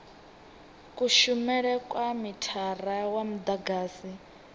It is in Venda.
kushumele kwa mithara wa mudagasi